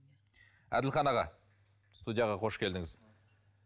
әділхан аға студияға қош келдіңіз